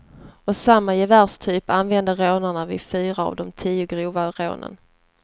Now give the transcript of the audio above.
Och samma gevärstyp använde rånaren vid fyra av de tio grova rånen.